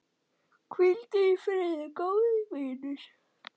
Hvíldu í friði, góði vinur.